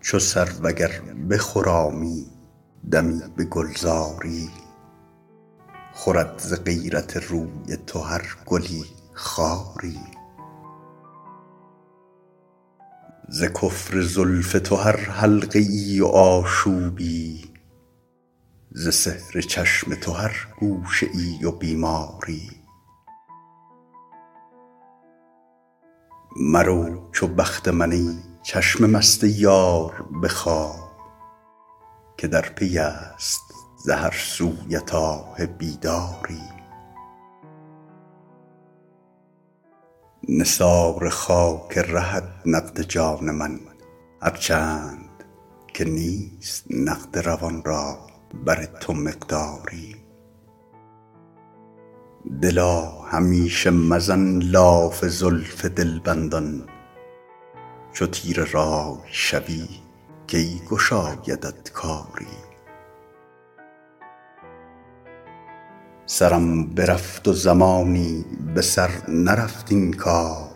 چو سرو اگر بخرامی دمی به گلزاری خورد ز غیرت روی تو هر گلی خاری ز کفر زلف تو هر حلقه ای و آشوبی ز سحر چشم تو هر گوشه ای و بیماری مرو چو بخت من ای چشم مست یار به خواب که در پی است ز هر سویت آه بیداری نثار خاک رهت نقد جان من هر چند که نیست نقد روان را بر تو مقداری دلا همیشه مزن لاف زلف دلبندان چو تیره رأی شوی کی گشایدت کاری سرم برفت و زمانی به سر نرفت این کار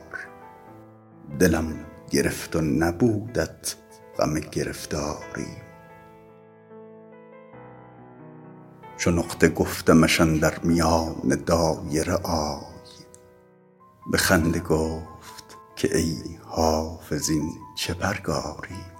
دلم گرفت و نبودت غم گرفتاری چو نقطه گفتمش اندر میان دایره آی به خنده گفت که ای حافظ این چه پرگاری